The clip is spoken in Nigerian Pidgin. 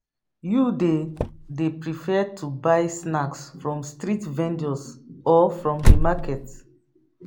You dey dey prefer to buy snacks from street vendors or from di market?